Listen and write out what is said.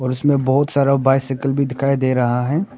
जिसमें बहुत सारा बाइसाइकल भी दिखाई दे रहा है।